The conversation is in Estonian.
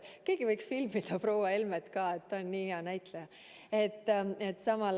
Keegi võiks samal ajal, kui ma räägin, filmida proua Helmet ka.